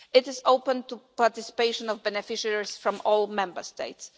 It is open to participation by beneficiaries from all Member States.